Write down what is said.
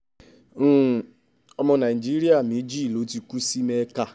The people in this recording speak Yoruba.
um ọmọ nàìjíríà méjì ló ti kú sí mẹ́ka